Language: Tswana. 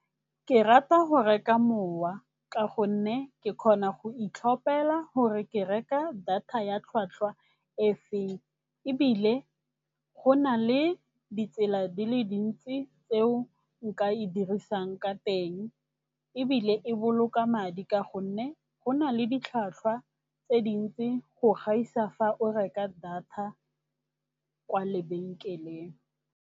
Ke rata go reka mowa ka gonne ke kgona go itlhopela gore ke reka data ya tlhwatlhwa e feng, ebile go na le ditsela di le dintsi tseo nka e dirisang ka teng. Ebile e boloka madi ka gonne go na le ditlhwatlhwa tse dintsi go gaisa fa o reka data kwa lebenkeleng.